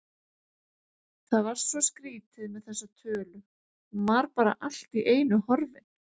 Það var svo skrýtið með þessa tölu, hún var bara allt í einu horfin